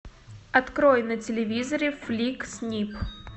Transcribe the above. открой на телевизоре флик снип